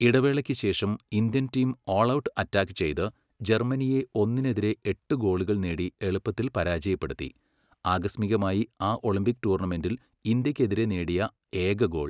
ഇടവേളയ്ക്കുശേഷം, Indian team all out attack ചെയ്ത്, ജർമ്മനിയെ ഒന്നിനെതിരെ എട്ട് ഗോളുകൾ നേടി എളുപ്പത്തിൽ പരാജയപ്പെടുത്തി, ആകസ്മികമായി ആ ഒളിമ്പിക് ടൂർണമെന്റിൽ ഇന്ത്യക്കെതിരെ നേടിയ ഏക ഗോൾ.